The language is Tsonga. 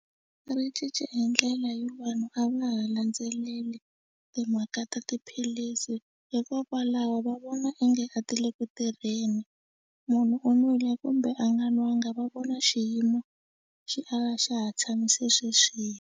Ri cince hi ndlela yo vanhu a va ha landzeleli timhaka ta tiphilisi hikokwalaho va vona onge a ti le ku tirheni munhu u n'wile kumbe a nga nwanga va vona xiyimo xi ala xa ha tshamise sweswiya.